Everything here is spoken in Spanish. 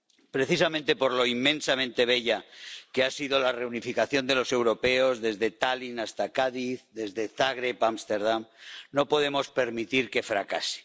Precisamente por lo inmensamente bella que ha sido la reunificación de los europeos, desde Tallin hasta Cádiz, desde Zagreb a Ámsterdam, no podemos permitir que fracase.